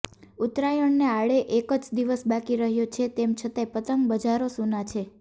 ઉત્તરાયણને આડે એક જ દિવસ બાકી રહ્યો છે તેમ છતાંય પતંગ બજારો સૂના છે